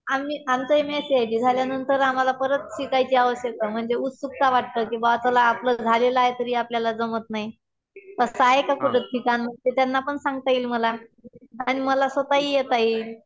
आम्ही, आमचं M S C I T झाल्यानंतर आम्हाला परत शिकायची आवश्यकता म्हणजे उत्सुकता वाटतं कि बुवा चला आपलं झालेलं आहे तरी आपल्याला जमत नाही.